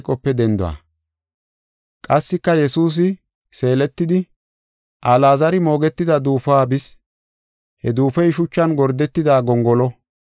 Qassika Yesuusi seeletidi, Alaazari moogetida duufuwa bis. He duufoy shuchan gordetida gongolo.